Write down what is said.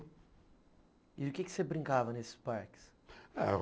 E o que você brincava nesses parques?